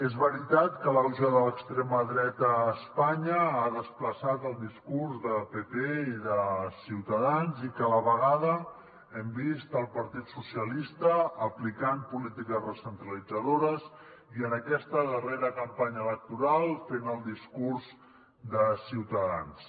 és veritat que l’auge de l’extrema dreta a espanya ha desplaçat el discurs de pp i de ciutadans i que a la vegada hem vist el partit socialista aplicant polítiques recentralitzadores i en aquesta darrera campanya electoral fent el discurs de ciutadans